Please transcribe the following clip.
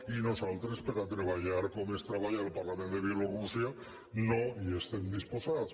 i nosaltres a treballar com es treballa en el parlament de bielorússia no hi estem disposats